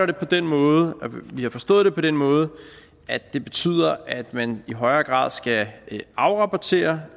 det på den måde og vi har forstået det på den måde at det betyder at man i højere grad skal afrapportere